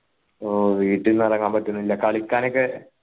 ഓ വീട്ടീന്നു ഇറങ്ങാൻ പറ്റുന്നില്ല കളിക്കാൻ ഒക്കെ